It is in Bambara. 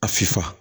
A fisa